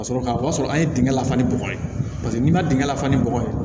Ka sɔrɔ ka o y'a sɔrɔ an ye dingɛ lafa ni bɔgɔ ye n'i ma dingɛ fa ni bɔgɔ ye